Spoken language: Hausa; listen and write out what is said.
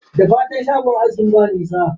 Da fatan shagon askin ba nisa?